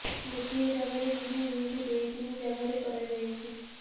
ଗୋଟିଏ ଜାଗାରେ ନୁହେଁ ଏମିତି ଦୁଇ ତିନି ଜାଗାରେ କରାଯାଇଛି